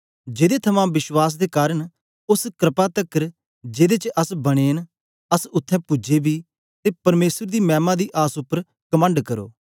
जेदे थमां विश्वास दे कारन ओस क्रपा तकर जेदे च अस बने न अस उत्थें पूजे बी ते परमेसर दी मैमा दी आस उपर कमंड करो